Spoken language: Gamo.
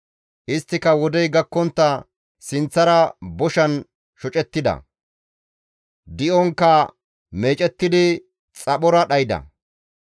Isttika wodey gakkontta sinththara boshan shocettida; di7onkka meecettidi xaphora dhayda.